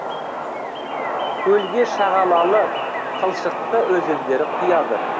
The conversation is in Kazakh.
көлге шағалалы қылшықты өзендері құяды